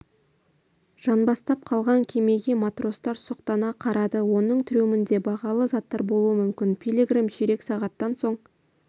жанбастап қалған кемеге матростар сұқтана қарады оның трюмінде бағалы заттар болуы мүмкін пилигрим ширек сағаттан соң